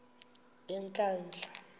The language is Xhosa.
yenkandla